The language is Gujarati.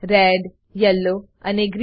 રેડ યેલો અને ગ્રીન